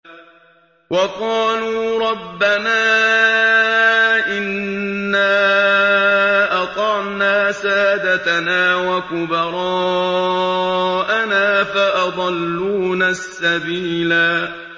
وَقَالُوا رَبَّنَا إِنَّا أَطَعْنَا سَادَتَنَا وَكُبَرَاءَنَا فَأَضَلُّونَا السَّبِيلَا